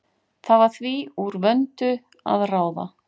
Það var því úr vöndu að ráða.